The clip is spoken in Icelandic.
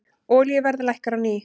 Olíuverð lækkar á ný